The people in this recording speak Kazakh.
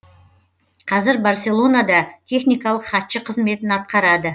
қазір барселонада техникалық хатшы қызметін атқарады